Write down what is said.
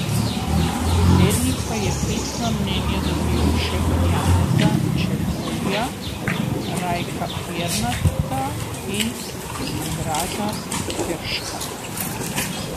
Predsednik pa je pisna mnenja dobil še od Janeza Čebulja, Rajka Pirnata in Andraža Terška.